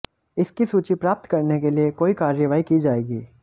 इसकी सूची प्राप्त करने के लिए कोई कार्रवाई की जाएगी